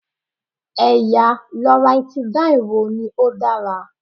Ẹ̀yà Loratidine wo ni ó dára?